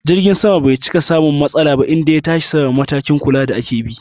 Jirgin sama bai cika samun matsala ba inda ya tashi sama, matakin kula da ake bi